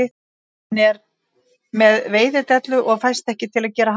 Hann er með veiðidellu og fæst ekki til að gera handtak